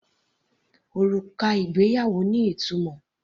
Òrùka ìgbéyàwó ní ìtumọ̀.